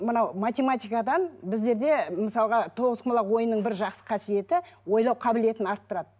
мынау математикадан біздерде мысалға тоғызқұмалақ ойынының бір жақсы қасиеті ойлау қабілетін арттырады